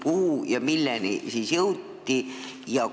Millise seisukohani siis jõuti?